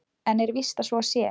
En er víst að svo sé?